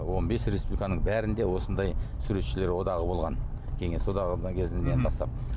он бес республиканың бәрінде осындай суретшілер одағы болған кеңес одағы кезінен бастап